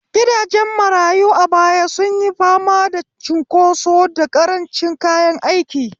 Gidajen marayu a baya sun yi fama da cunkoso da karancin kayan aiki.